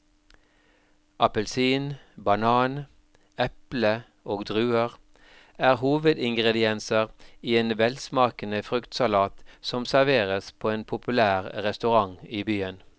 Appelsin, banan, eple og druer er hovedingredienser i en velsmakende fruktsalat som serveres på en populær restaurant i byen.